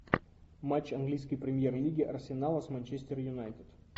матч английской премьер лиги арсенала с манчестер юнайтед